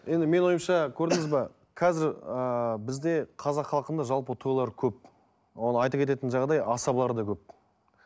енді менің ойымша көрдіңіз бе қазір ыыы бізде қазақ халқында жалпы тойлар көп ол айта кететін жағдай асабалар да көп